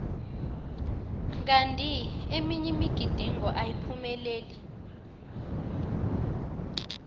kanti eminye imigidingo ayiphumeleli